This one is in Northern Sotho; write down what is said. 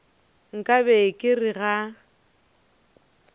nka be ke re ga